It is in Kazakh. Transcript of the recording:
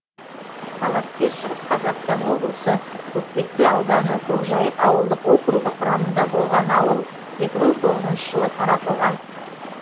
талапкер шығыс қазақстан облысы көкпекті ауданы көкжайық ауылдық округі құрамында болған ауыл екі мың тоғызыншы жылы таратылған